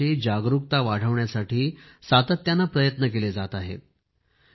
पोषणाविषयी जागरूकता वाढविण्यासाठी सातत्याने प्रयत्न केले जात आहेत